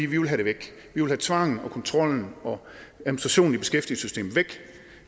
vi vil have det væk vi vil have tvangen og kontrollen og administrationen i beskæftigelsessystemet væk